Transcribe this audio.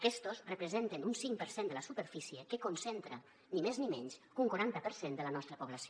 aquestos representen un cinc per cent de la superfície que concentra ni més ni menys que un quaranta per cent de la nostra població